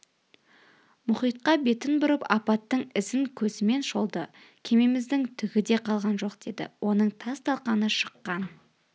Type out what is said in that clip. мұхитқа бетін бұрып апаттың ізін көзімен шолды кемеміздің түгі де қалған жоқ деді оның тас-талқаны шыққан